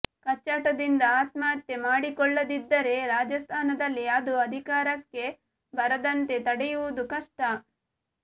ಕಚ್ಚಾಟದಿಂದ ಆತ್ಮಹತ್ಯೆ ಮಾಡಿಕೊಳ್ಳದಿದ್ದರೆ ರಾಜಸ್ಥಾನದಲ್ಲಿ ಅದು ಅಧಿಕಾರಕ್ಕೆ ಬರದಂತೆ ತಡೆಯುವುದು ಕಷ್ಟ